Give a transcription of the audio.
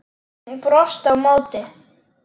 Hún brosti á móti.